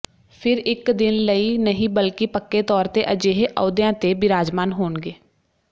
ਫਿਰ ਇੱਕ ਦਿਨ ਲਈ ਨਹੀਂ ਬਲਕਿ ਪੱਕੇ ਤੌਰ ਤੇ ਅਜਿਹੇ ਅਹੁਦਿਆਂ ਤੇ ਬਿਰਾਜਮਾਨ ਹੋਣਗੇ